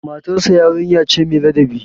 Matarsa yarinya ce mai ladabi.